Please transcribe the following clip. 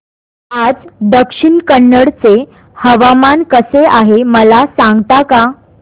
आज दक्षिण कन्नड चे हवामान कसे आहे मला सांगता का